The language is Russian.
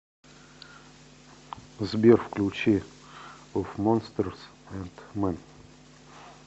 сбер включи оф монстерс энд мэн